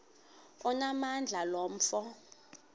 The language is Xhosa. onamandla lo mfo